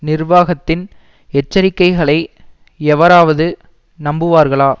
நிர்வாகத்தின் எச்சரிக்கைகளை எவராவது நம்புவார்களா